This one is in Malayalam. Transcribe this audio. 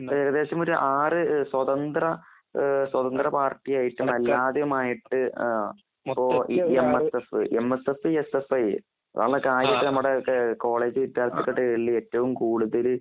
ഏകദേശം ആർ സ്വതന്ത്ര പാർട്ടിയായിട്ടുംഅല്ലാതെ ആയിട്ടും. എമ്മ . എസ് സഫ്.,എമ്മ . S F, S. F. I അങ്ങനെ കോളേജ് ഏറ്റവും കൂടുതല്.